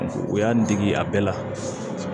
O y'an dege a bɛɛ la